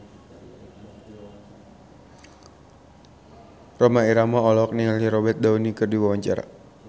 Rhoma Irama olohok ningali Robert Downey keur diwawancara